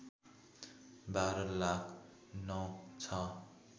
१२ lakh ९६